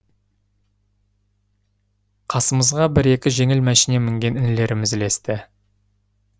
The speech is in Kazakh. қасымызға бір екі жеңіл мәшине мінген інілеріміз ілесті